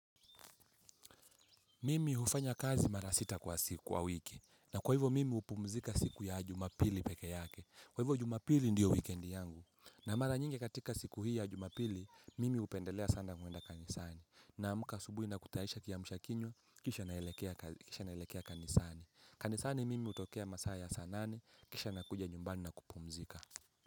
Mimi hufanya kazi mara sita kwa siku wa wiki. Na kwa hivo mimi hupumzika siku ya jumapili peke yake. Kwa hivo jumapili ndiyo weekendi yangu. Na mara nyingi katika siku hii ya jumapili, mimi hupendelea sana kwenda kanisani. Naamka asubuhi na kutayisha kiamsha kinywa, kisha naelekea kanisani. Kanisani mimi utokea masaa ya saa nane, kisha na kuja nyumbani na kupumzika.